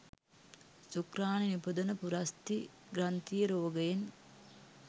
ශුක්‍රාණු නිපදවන පුරස්ථි ග්‍රන්ථියේ රෝගයෙන්